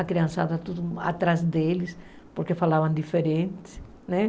A criança andava atrás deles porque falavam diferente, né?